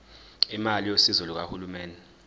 imali yosizo lukahulumeni